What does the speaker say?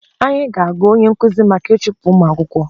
Anyị ga-akọ onye nkuzi maka ịchụpụ ụmụ akwụkwọ